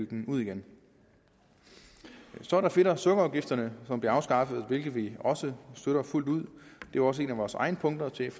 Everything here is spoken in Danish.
den ud så er der fedt og sukkerafgifterne som bliver afskaffet hvilket vi også støtter fuldt ud det var også et af vores egne punkter til